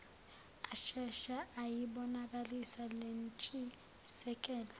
ashesha ayibonakalisa lentshisekelo